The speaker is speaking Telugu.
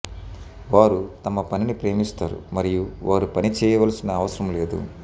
వారు తమ పనిని ప్రేమిస్తారు మరియు వారు పని చేయవలసిన అవసరం లేదు